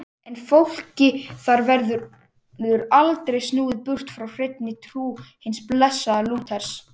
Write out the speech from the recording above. En fólki þar verður aldrei snúið burt frá hreinni trú hins blessaða Lúters.